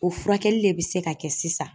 O furakɛli le be se ka kɛ sisan.